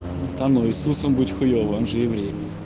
та ну иисусом быть хуёво он же еврей